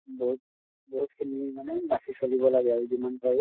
বহুত বহুত খিনি মানে বাচি চলিব লাগে আৰু যিমান পাৰো।